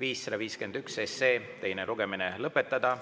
551 teine lugemine lõpetada.